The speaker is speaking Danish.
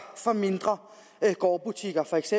for mindre gårdbutikker feks